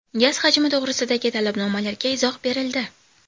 Gaz hajmi to‘g‘risidagi talabnomalarga izoh berildi.